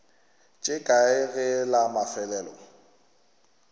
tše kae ge la mafelelo